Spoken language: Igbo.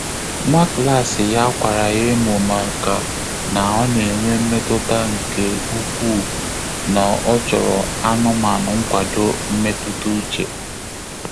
Nwá klásị̀ yá kwàrà yá èmó màkà nà ọ́ nà-ènwé mmétụ́tà nké úkwúù nà ọ́ chọ́rọ̀ ánụ́mánụ́ nkwàdò mmétụ́tà úchè.